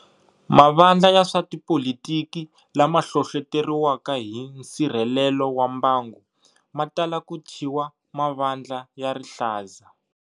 Mavandla ya swa tipolitiki lama hlohloteriwaka hi nsirhelelo wa mbangu, matala ku thyiwa ma vandla ya rihlaza.